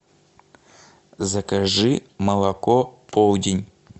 закажи молоко полдень